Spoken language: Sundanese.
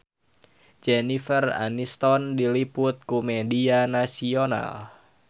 Jennifer Aniston diliput ku media nasional